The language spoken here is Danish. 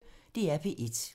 DR P1